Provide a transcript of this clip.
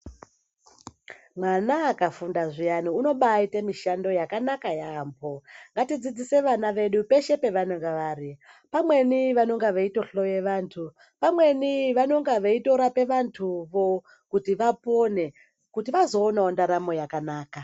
Vana vakafunda zviyani vanombaita mishando yakanaka yaambo ngatidzidzise vana vedu peshe pevanenge vari pamweni vanenge veitohloya vanthu pamweni vanonga veitorapa vanthuvo kuti vapone kuti vazoonao ndaramo yakanaka.